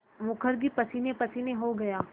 मुखर्जी पसीनेपसीने हो गया